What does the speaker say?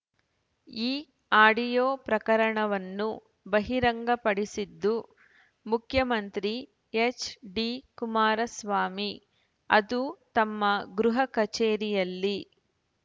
ಈ ಆಡಿಯೋ ಪ್ರಕರಣವನ್ನು ಬಹಿರಂಗಪಡಿಸಿದ್ದು ಮುಖ್ಯಮಂತ್ರಿ ಎಚ್‌ಡಿಕುಮಾರಸ್ವಾಮಿ ಅದೂ ತಮ್ಮ ಗೃಹ ಕಚೇರಿಯಲ್ಲಿ